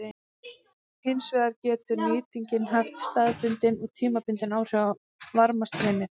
Hins vegar getur nýtingin haft staðbundin og tímabundin áhrif á varmastreymið.